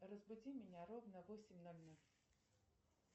разбуди меня ровно в восемь ноль ноль